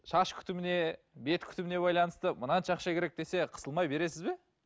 шаш күтіміне бет күтіміне байланысты мынанша ақша керек десе қысылмай бересіз бе